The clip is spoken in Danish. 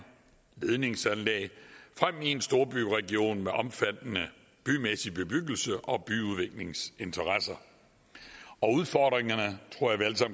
ledningsanlæg frem i en storbyregion med omfattende bymæssig bebyggelse og byudviklingsinteresser og udfordringerne